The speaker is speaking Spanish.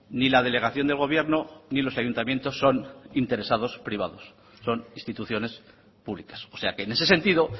ni la delegación del gobierno ni los ayuntamientos son interesados privados son instituciones públicas o sea que en ese sentido